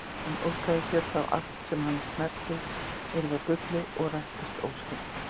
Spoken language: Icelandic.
Hann óskaði sér þá að allt sem hann snerti yrði að gulli og rættist óskin.